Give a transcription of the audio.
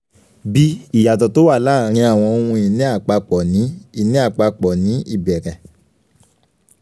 b ìyàtọ̀ tó wà láàárín àwọn ohun ìní àpapọ̀ ní ìní àpapọ̀ ní ìbẹ̀rẹ̀.